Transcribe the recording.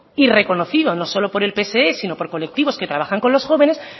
y reconocido no solo por el pse sino por colectivos que trabajan con los jóvenes